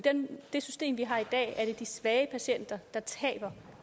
det system vi har i dag er det de svage patienter der taber